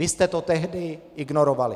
Vy jste to tehdy ignorovali.